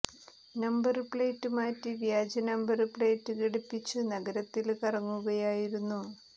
number plate മാറ്റി വ്യാജ number plate ഘടിപ്പിച്ച് നഗരത്തില് കറങ്ങുകയായിരുന്നു